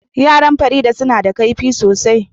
Yara Farida suna da kaifi sosai